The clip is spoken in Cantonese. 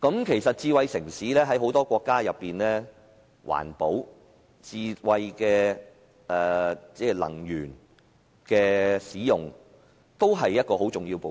其實在很多國家，環保和使用智慧能源都是智慧城市的重要部分。